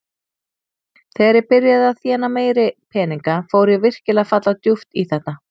Þegar ég byrjaði að þéna meiri peninga fór ég virkilega að falla djúpt í þetta.